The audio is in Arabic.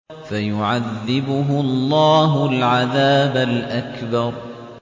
فَيُعَذِّبُهُ اللَّهُ الْعَذَابَ الْأَكْبَرَ